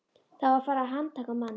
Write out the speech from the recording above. Það á að fara að handtaka mann.